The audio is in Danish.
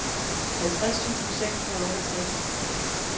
halvtreds tusind seks hundrede og otteogtres